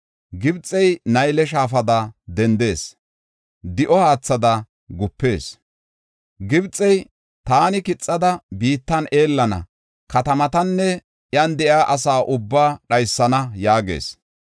Gibxey Nayle shaafada dendees; di7o haathada gupees. Gibxey, “Taani kixada, biittan eellana; katamatanne iyan de7iya asa ubbaa dhaysana” yaagees.